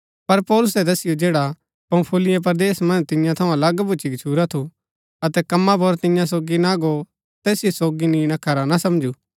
पर पौलुसै तैसिओ जैडा पंफूलिया परदेस मन्ज तियां थऊँ अलग भूच्ची गच्छुरा थु अतै कम्मा पुर तियां सोगी ना गो तैसिओ सोगी निणा खरा ना समझु